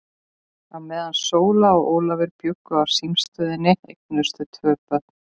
Á meðan Sóla og Ólafur bjuggu á símstöðinni eignuðust þau tvö börn.